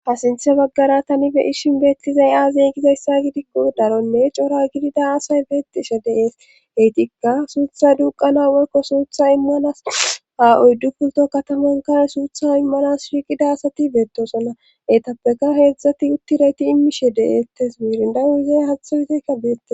Ha sinthe baggara tani beyishin beettizay aazey gizayssa gidikko daronne cora gidida asay beettishe deees heytikka suutha duuqana wolko suutha immanas ha oyddu pulto katamankare suutha immanas whiiqida asati beettosona etappeka heedzdzati uttirayti immishe deeetes miirindawu izey hatha yizeykka beette